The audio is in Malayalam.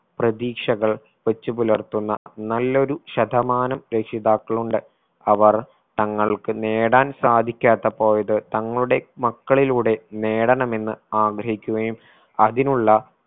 പ്രതീക്ഷകൾ വെച്ച് പുലർത്തുന്ന നല്ലൊരു ശതമാനം രക്ഷിതാക്കളുണ്ട്. അവർ തങ്ങൾക്ക് നേടാൻ സാധിക്കാതെ പോയത് തങ്ങളുടെ മക്കളിലൂടെ നേടണമെന്ന് ആഗ്രഹിക്കുകയും അതിനുള്ള